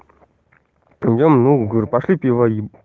да не ну говорю пошли пиво им